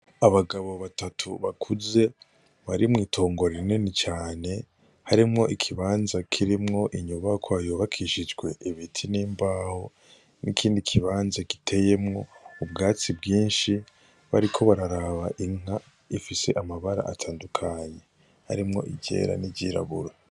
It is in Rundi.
Abagabo batatu bakuze barimwo itongo rinini cane harimwo ikibanza kirimwo inyubako ayobakishijwe ibiti n'imbaho n'ikindi ikibanza giteyemwo ubwatsi bwinshi bariko bararaba inka ifise amabara atandukanye harimwo irera n'ijirabue.